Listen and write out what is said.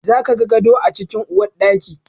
Za ka ga gado a cikin uwarɗaki.